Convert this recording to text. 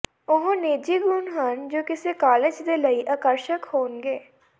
ਉਹ ਨਿੱਜੀ ਗੁਣ ਹਨ ਜੋ ਕਿਸੇ ਕਾਲਜ ਦੇ ਲਈ ਆਕਰਸ਼ਕ ਹੋਣਗੇ